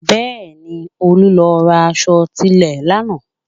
Bẹ́ẹ̀ni, Olú lọ ra aṣọ tilẹ̀ lánàá